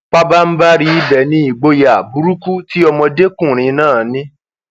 pabanbarì ibẹ ni ìgboyà burúkú tí ọmọdékùnrin náà ní